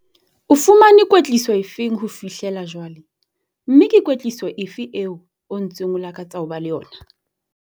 O fumane kwetliso efe ho fihlela jwale, mme ke kwetliso efe eo o ntseng o lakatsa ho ba le yona?